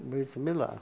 O Brit Milá.